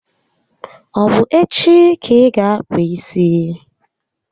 Ọ bụ echi ka ị ga akpụ isi?